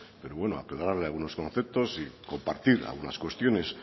pero bueno aclararle algunos conceptos y compartir algunas cuestiones